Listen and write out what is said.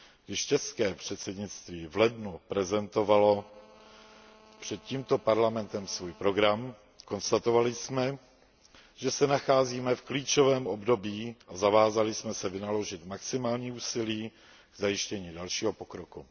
Když české předsednictví v lednu prezentovalo před tímto Parlamentem svůj program, konstatovali jsme, že se nacházíme v klíčovém období, a zavázali jsme se vynaložit maximální úsilí k zajištění dalšího pokroku.